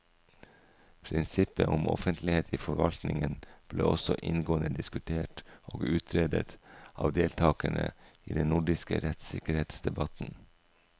Prinsippet om offentlighet i forvaltningen ble også inngående diskutert og utredet av deltakerne i den nordiske rettssikkerhetsdebatten.